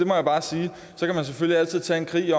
må jeg bare sige så kan man selvfølgelig altid tage en krig